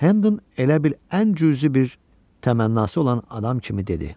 Hennon elə bil ən cüzi bir təmannası olan adam kimi dedi: